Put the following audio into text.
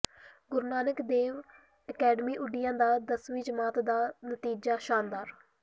ਗੁਰੂ Nanak Dev academy Othian ਦਾ ਦਸਵੀਂ ਜਮਾਤ ਦਾ ਨਤੀਜ਼ਾ ਸ਼ਾਨਦਾਰ